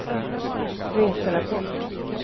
reserapport